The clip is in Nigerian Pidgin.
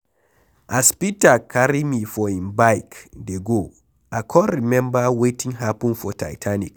As Peter carry me for im bike dey go I come remember wetin happen for titanic.